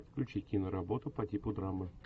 включи киноработу по типу драмы